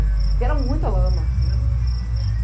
Porque era muita lama.